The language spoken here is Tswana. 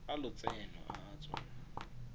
a lotseno a a tswang